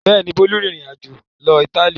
Bẹ́ẹ̀ ni, Bólú rìnrìn-àjò lọ Ítálì.